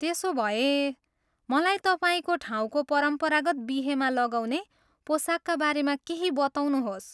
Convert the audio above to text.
त्यसोभए, मलाई तपाईँको ठाउँको परम्परागत बिहेमा लगाउने पोसाकका बारेमा केही बताउनुहोस्।